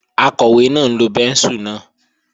Akọ̀wé náà ń lo bẹ́ńsù náà